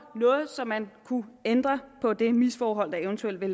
noget så man kunne ændre på det misforhold der eventuelt var